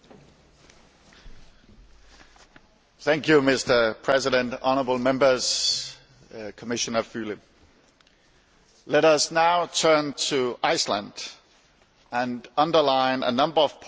Mr President, honourable Members, Commissioner Füle, let us now turn to Iceland and underline a number of points which are also duly reflected in your resolution.